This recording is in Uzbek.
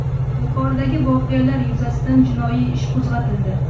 Yuqoridagi voqealar yuzasidan jinoiy ish qo‘zg‘atildi.